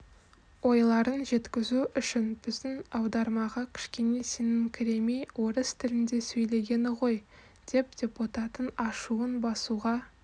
ойларын жеткізу үшін біздің аудармаға кішкене сеніңкіремей орыс тілінде сөйлегені ғой деп депутаттың ашуын басуға